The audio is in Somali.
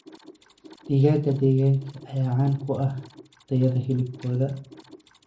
Digaagga deegaanka ayaa caan ku ah tayada hilibkooda.